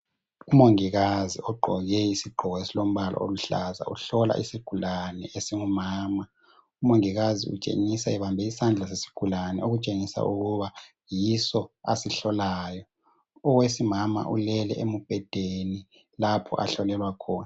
Umongikazi ogqoke isigqoko esilombala oluhlaza uhlola isigulane esingumama, umongikazi utshengisa ebambe isandla sesigulani okutshengisa ukuba yiso asihlolayo. Owesimama ulele emubhedeni lapho ahlolelwa khona.